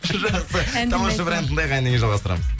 жақсы тамаша бір ән тыңдайық әннен кейін жалғастырамыз